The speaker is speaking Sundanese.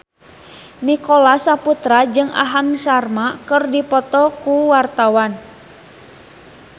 Nicholas Saputra jeung Aham Sharma keur dipoto ku wartawan